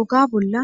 oga bolla